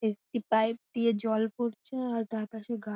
একটি পাইপ দিয়ে জল পড়ছে আর তার পাশে গা --